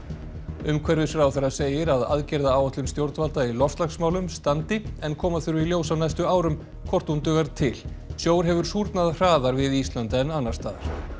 umhverfisráðherra segir að aðgerðaráætlun stjórnvalda í loftslagsmálum standi en koma þurfi í ljós á næstu árum hvort hún dugar til sjór hefur súrnað hraðar við Ísland en annars staðar